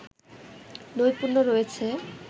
নৈপুণ্য রয়েছে